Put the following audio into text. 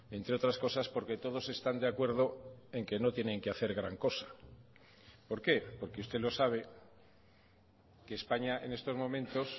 entre otras cosas porque todos están de acuerdo en que no tienen que hacer gran cosa por qué porque usted lo sabe que españa en estos momentos